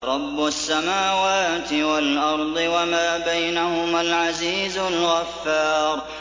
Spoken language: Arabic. رَبُّ السَّمَاوَاتِ وَالْأَرْضِ وَمَا بَيْنَهُمَا الْعَزِيزُ الْغَفَّارُ